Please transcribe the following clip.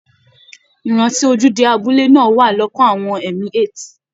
Ìrántí ojúde abúlé náà wà lọ́kàn àwọn emi8